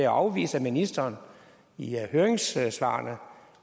afvist af ministeren i høringssvarene